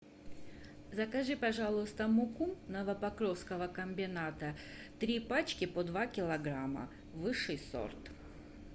закажи пожалуйста муку новопокровского комбината три пачки по два килограмма высший сорт